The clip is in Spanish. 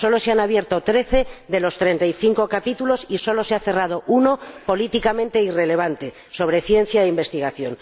Solo se han abierto trece de los treinta y cinco capítulos y solo se ha cerrado uno, políticamente irrelevante, sobre ciencia e investigación.